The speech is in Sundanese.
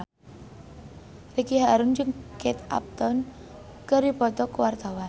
Ricky Harun jeung Kate Upton keur dipoto ku wartawan